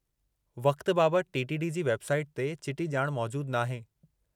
वक़्त बाबति T. T. D. जी वेबसाइट ते चिटी ॼाण मौजूदु नाहे।